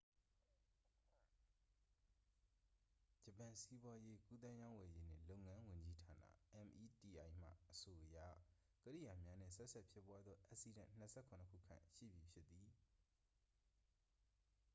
ဂျပန် စီးပွားရေး၊ ကူးသန်းရောင်းဝယ်ရေးနှင့် လုပ်ငန်းဝန်ကြီးဌာနာ meti မှ အဆိုအရ ကိရိယာများနှင့် ဆက်စပ်ဖြစ်ပွားသော အက်စီးဒန့် ၂၇ ခုခန့်ရှိပြီဖြစ်သည်။